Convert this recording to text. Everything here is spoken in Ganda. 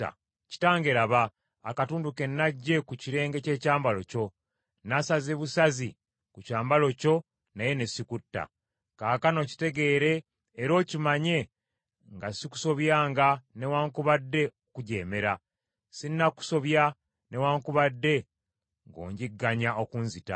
Kitange laba, akatundu ke naggye ku kirenge ky’ekyambalo kyo. Nasaze busazi ku kyambalo kyo naye ne sikutta. Kaakano kitegeere era okimanye nga sikusobyanga newaakubadde okukujeemera. Sinnakusobya newaakubadde ng’onjigganya okunzita.